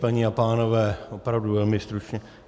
Paní a pánové, opravdu velmi stručně.